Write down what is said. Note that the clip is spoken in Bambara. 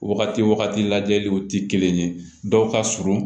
Wagati wagati lajɛliw tɛ kelen ye dɔw ka surun